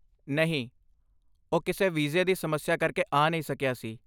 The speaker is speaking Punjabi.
ਨਹੀਂ, ਉਹ ਕਿਸੇ ਵੀਜ਼ੇ ਦੀ ਸਮੱਸਿਆ ਕਰਕੇ ਆ ਨਹੀਂ ਸਕਿਆ ਸੀ।